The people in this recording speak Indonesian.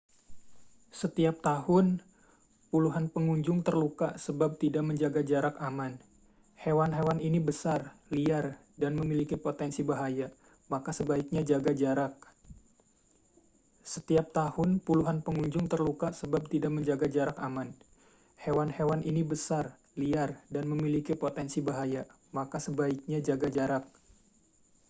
setiap tahun puluhan pengunjung terluka sebab tidak menjaga jarak aman hewan-hewan ini besar liar dan memiliki potensi bahaya maka sebaiknya jaga jarak